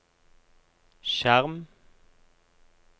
skjerm